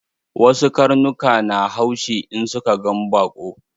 Wasu karnukan na haushi in suka gan baƙo